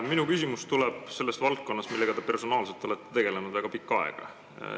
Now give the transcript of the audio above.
Minu küsimus on selle valdkonna kohta, millega te personaalselt olete väga pikka aega tegelenud.